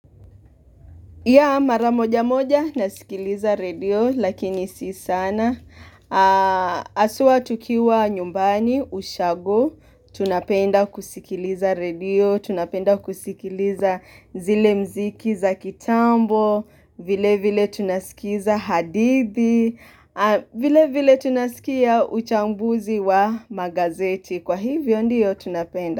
YaH mara moja moja nasikiliza redio lakini si sana aswa tukiwa nyumbani ushago tunapenda kusikiliza radio tunapenda kusikiliza zile mziki za kitambo vile vile tunasikiza hadithi vile vile tunasikia uchambuzi wa magazeti kwa hivyo ndiyo tunapenda.